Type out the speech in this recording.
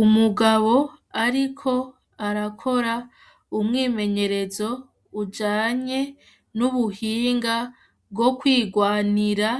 umugabo ariko arakora umwimenyerezo ujanye nubuhinga bwo kwigwanira